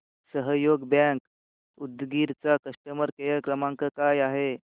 सहयोग बँक उदगीर चा customer care क्रमांक काय आहे